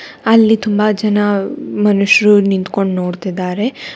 ಅಲ್ಲಿ ತುಂಬಾ ಜನ ಮನುಷರು ನಿಂತ್ಕೊಂಡ್ ನೋಡ್ತಿದ್ದಾರೆ.